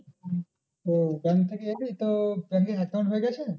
ও bank থেকে এলি তো bank এর account হয়ে গেছে?